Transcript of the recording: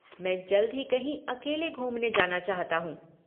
मैं जल्द ही कहीं अकेले घूमने जाना चाहता हूँ।